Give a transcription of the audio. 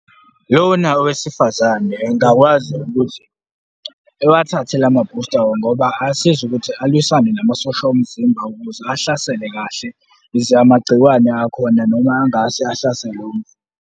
Lona owesifazane engakwazi ukuthi ewathathe lama-booster-ke ngoba asiza ukuthi alwisane namasosha omzimba ukuze ahlasele kahle, ukuze amagcikwane akhona noma angase ahlasele .